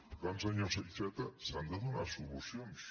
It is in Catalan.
per tant senyor iceta s’han de donar solucions